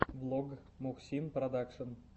влог мухсин продакшен